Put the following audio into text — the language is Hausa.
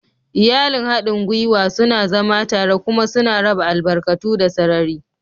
Iyalin haɗin gwiwa suna zama tare kuma suna raba albarkatu da sarari.